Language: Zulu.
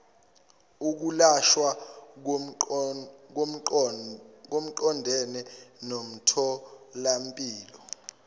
ukulashwa kuqondene nomtholampilo